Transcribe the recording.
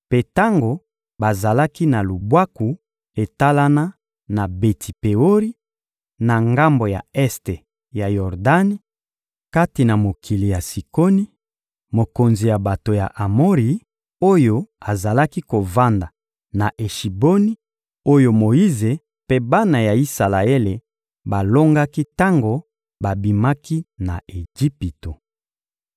mpe tango bazalaki na lubwaku etalana na Beti-Peori, na ngambo ya este ya Yordani, kati na mokili ya Sikoni, mokonzi ya bato ya Amori, oyo azalaki kovanda na Eshiboni oyo Moyize mpe bana ya Isalaele balongaki tango babimaki na Ejipito.